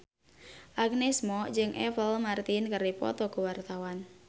Agnes Mo jeung Apple Martin keur dipoto ku wartawan